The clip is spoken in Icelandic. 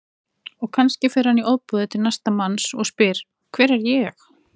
Og kannski fer hann í ofboði til næsta manns og spyr Hver er ég?